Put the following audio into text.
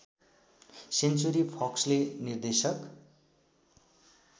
century फक्सले निर्देशक